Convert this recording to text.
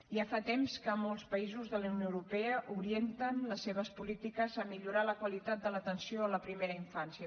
ja fa temps que molts països de la unió europea orienten les seves polítiques a millorar la qualitat de l’atenció a la primera infància